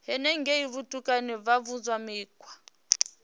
henengei vhutukani vha funzwa mikhwa